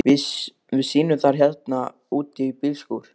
Við sýnum það hérna úti í bílskúr.